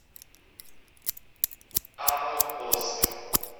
аванпост